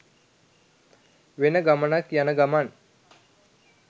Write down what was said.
වෙන ගමනක් යන ගමන්.